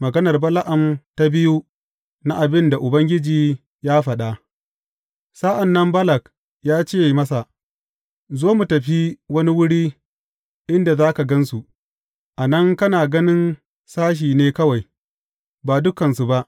Maganar Bala’am ta biyu na abin da Ubangiji ya faɗa Sa’an nan Balak ya ce masa, Zo, mu tafi wani wuri inda za ka gan su; a nan kana ganin sashe ne kawai, ba dukansu ba.